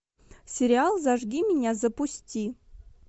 сериал зажги меня запусти